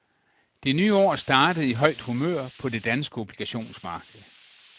Det nye år startede i højt humør på det danske obligationsmarked.